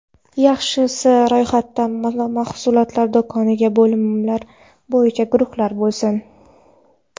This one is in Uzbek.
Yaxshisi, ro‘yxatda mahsulotlar do‘kondagi bo‘limlar bo‘yicha guruhlangan bo‘lsin.